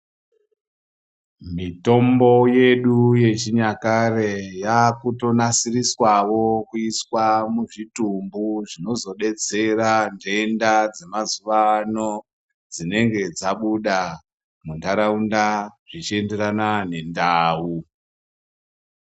Mitombo yedu ye chinyakare yakuto naisiriswawo kuiswa mu zvitumbu zvinozo detsera ndenda dze mazuva ano dzinenge dzabuda mu ndaraunda zvichi enderana ne ndau.